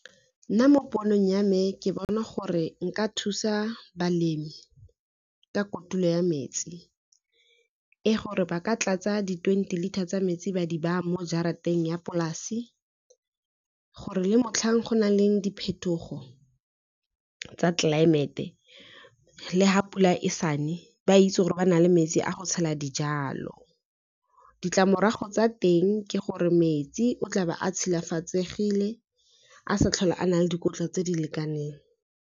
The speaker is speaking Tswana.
Nna mo ponong ya me ke bona gore nka thusa balemi ka kotulo ya metsi, e gore ba ka tlatsa di-twenty liter tsa metsi ba di baa mo jarateng ya polasi, gore le motlhang go na le diphetogo tsa tlelaemete, le ha pula e sane ba itse gore ba na le metsi a go tshela dijalo. Ditlamorago tsa teng ke gore metsi o tlabe a tshilafatsegile a sa tlhole a na le dikotla tse di lekaneng.